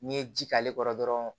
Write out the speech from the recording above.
N'i ye ji k'ale kɔrɔ dɔrɔn